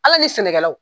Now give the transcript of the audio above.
Ala ni sɛnɛkɛlaw